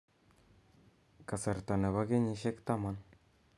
kasarta nebo kenyisiek taman